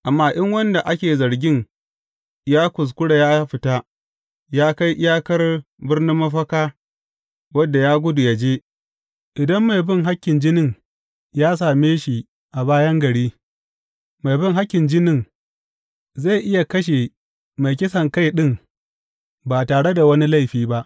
Amma in wanda ake zargin ya kuskura ya fita, ya kai iyakar birnin mafaka wadda ya gudu ya je, idan mai bin hakkin jinin ya same shi a bayan gari, mai bin hakkin jinin zai iya kashe mai kisankai ɗin ba tare da wani laifi ba.